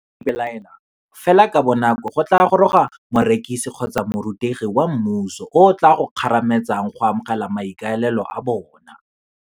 Fa o ipelaela, fela ka bonako go tlaa goroga morekisi kgotsa morutegi wa mmuso o o tlaa go kgarametsang go amogela maikaelelo a bona.